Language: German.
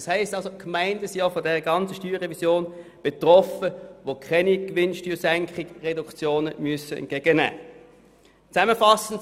Das heisst also, dass auch jene Gemeinden von der ganzen StG-Revision betroffen sind, die keine Gewinnsteuersenkungsreduktionen entgegennehmen müssen.